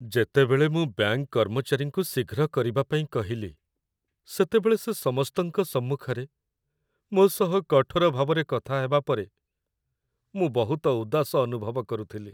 ଯେତେବେଳେ ମୁଁ ବ୍ୟାଙ୍କ କର୍ମଚାରୀଙ୍କୁ ଶୀଘ୍ର କରିବାପାଇଁ କହିଲି, ସେତେବେଳେ ସେ ସମସ୍ତଙ୍କ ସମ୍ମୁଖରେ ମୋ ସହ କଠୋର ଭାବରେ କଥା ହେବା ପରେ, ମୁଁ ବହୁତ ଉଦାସ ଅନୁଭବ କରୁଥିଲି।